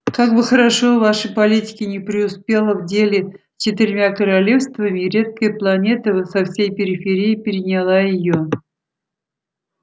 как бы хорошо ваша политика ни преуспела в деле с четырьмя королевствами редкая планета со всей периферии переняла её